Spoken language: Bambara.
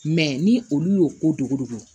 ni olu y'o ko dogo dogo